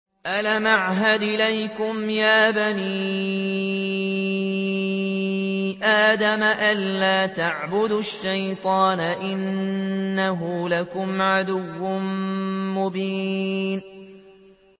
۞ أَلَمْ أَعْهَدْ إِلَيْكُمْ يَا بَنِي آدَمَ أَن لَّا تَعْبُدُوا الشَّيْطَانَ ۖ إِنَّهُ لَكُمْ عَدُوٌّ مُّبِينٌ